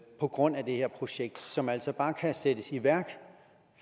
på grund af det her projekt som altså bare kan sættes i værk